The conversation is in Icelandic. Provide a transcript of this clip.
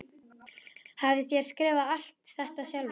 Hafið þér skrifað alt þetta sjálfur?